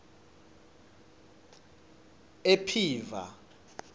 ephiva